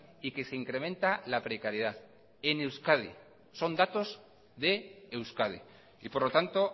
y que se incrementa la precariedad en euskadi son datos de euskadi y por lo tanto